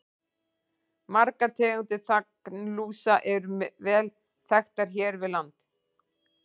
Margar tegundir þanglúsa eru vel þekktar hér við land.